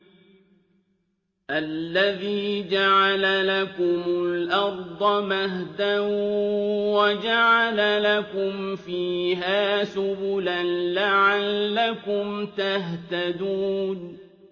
الَّذِي جَعَلَ لَكُمُ الْأَرْضَ مَهْدًا وَجَعَلَ لَكُمْ فِيهَا سُبُلًا لَّعَلَّكُمْ تَهْتَدُونَ